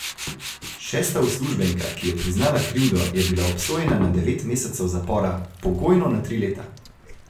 Šesta uslužbenka, ki je priznala krivdo, je bila obsojena na devet mesecev zapora, pogojno na tri leta.